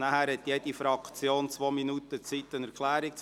Danach hat jede Fraktion zwei Minuten Zeit, um eine Erklärung abzugeben.